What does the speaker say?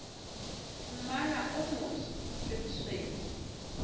mmala o motsho le bosweu